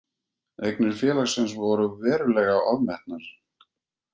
Eignir félagsins voru verulega ofmetnar